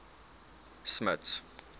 smuts